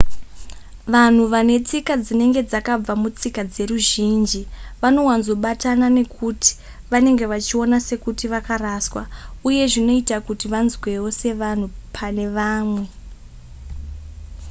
vanhu vane tsika dzinenge dzakabva mutsika dzeruzhinji vanowanzobatana nekuti vanenge vachiona sekuti vakaraswa uye zvinoita kuti vanzwewo sevanhu pane vamwe